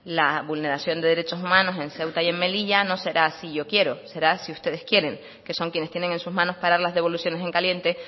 la vulneración de derechos humanos en ceuta y melilla no será si yo quiero será si ustedes quieren que son quienes tienen en sus manos parar las devoluciones en caliente